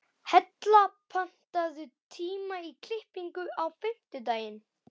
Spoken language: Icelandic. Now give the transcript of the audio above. Hella, pantaðu tíma í klippingu á fimmtudaginn.